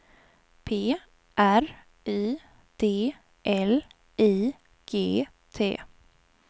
P R Y D L I G T